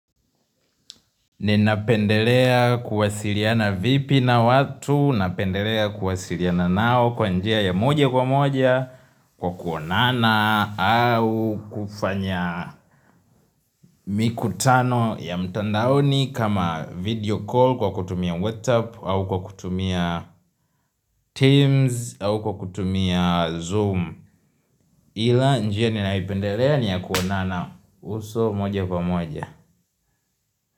Ninapendelea kuwasiliana vipi na watu, napendelea kuwasiliana nao kwa njia ya moja kwa moja, kwa kuonana, au kufanya mikutano ya mtandaoni kama video call kwa kutumia WhatsApp, au kwa kutumia Teams, au kwa kutumia Zoom. Ila njia ninapendelea ni ya kuonana uso moja kwa moja.